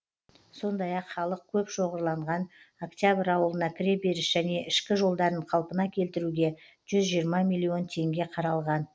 сондай ақ халық көп шоғырланған октябрь ауылына кіреберіс және ішкі жолдарын қалпына келтіруге жүз жиырма миллион теңге қаралған